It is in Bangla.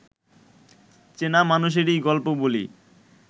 চেনা মানুষেরই গল্প বলি